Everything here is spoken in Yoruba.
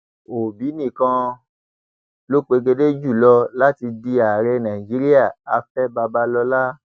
òbí nìkan ló pegedé jù lọ láti di ààrẹ nàìjíríà afẹ babalọla